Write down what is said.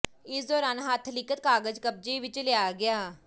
ਇਸ ਦੌਰਾਨ ਹੱਥ ਲਿਖ਼ਤ ਕਾਗਜ਼ ਕਬਜ਼ੇ ਵਿੱਚ ਲਿਆ ਗਿਆ